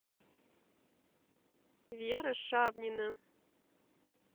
вера шавнина